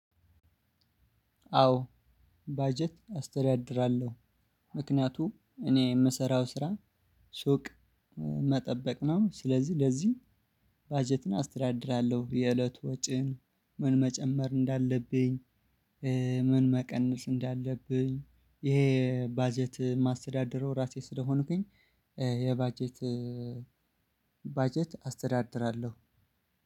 አዎ ባጀት አስተዳድራለሁ። ምክንያቱም እኔ የምሰራው ስራ ሱቅ መጠበቅ ነው ስለዚህ ለዚህ ባጀትን አስተዳድራለሁ የእለቱ ወጪን ምን መጨመር እንዳለብኝ። ምን መቀነስ እንዳለብኝ ይሄ ባጀት የማስተዳድረው ራሴ ስለሆንኩኝ። የባጀት ባጀት አስተዳድራለሁ።